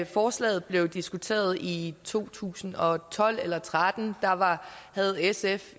forslaget blev diskuteret i to tusind og tolv eller og tretten havde sf